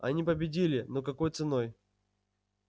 они победили но какой ценой